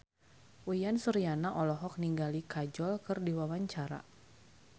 Uyan Suryana olohok ningali Kajol keur diwawancara